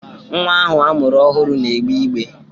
Nwa ahụ a mụrụ ọhụrụ na-egbe igbe.